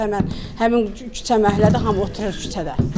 Həmin həmin küçə məhəllədə hamı oturur küçədə.